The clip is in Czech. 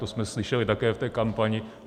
To jsme slyšeli také v té kampani.